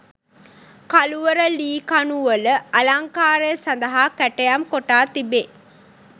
කළුවර ලී කණු වල අලංකාරය සඳහා කැටයම් කොටා තිබේ.